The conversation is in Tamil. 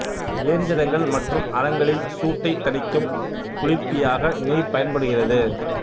இயந்திரங்கள் மற்றும் அறங்களின் சூட்டைத் தணிக்கும் குளிர்ப்பியாக நீர் பயன்படுகிறது